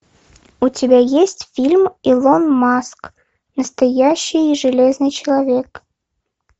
у тебя есть фильм илон маск настоящий железный человек